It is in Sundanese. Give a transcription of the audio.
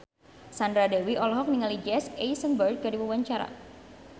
Sandra Dewi olohok ningali Jesse Eisenberg keur diwawancara